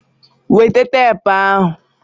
Weta teepu ahụ!